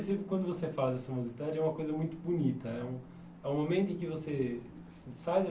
Eu percebo que quando você faz a mocidade é uma coisa muito bonita. É um é o momento em que você, assim, sai